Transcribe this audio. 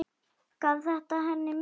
Gaf þetta henni mikið.